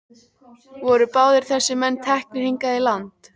Voru báðir þessir menn teknir hingað í land.